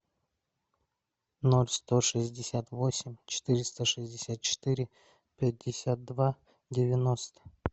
ноль сто шестьдесят восемь четыреста шестьдесят четыре пятьдесят два девяносто